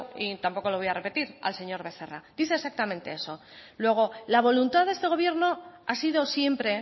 y tampoco lo voy a repetir al señor becerra dice exactamente eso luego la voluntad de este gobierno ha sido siempre